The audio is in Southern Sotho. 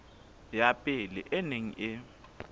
ya pele e neng e